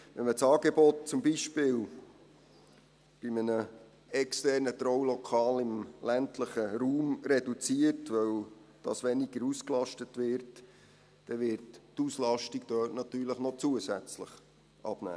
Wenn man das Angebot zum Beispiel bei einem externen Traulokal im ländlichen Raum reduziert, weil das weniger ausgelastet wird, wird die Auslastung dort natürlich noch zusätzlich abnehmen.